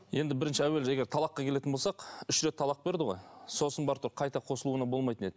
енді бірінші әуелі егер талаққа келетін болсақ үш рет талақ берді ғой сосын барып тұрып қайта қосылуына болмайтын еді